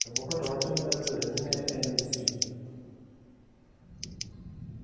Jomoko to wacho ni nyalo bedo ni ne en Misri.